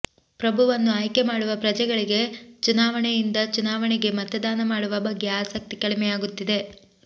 ಪ್ರಭುವನ್ನು ಆಯ್ಕೆ ಮಾಡುವ ಪ್ರಜೆಗಳಿಗೆ ಚುನಾವಣೆಯಿಂದ ಚುನಾವಣೆಗೆ ಮತದಾನ ಮಾಡುವ ಬಗ್ಗೆ ಆಸಕ್ತಿ ಕಡಿಮೆಯಾಗುತ್ತಿದೆ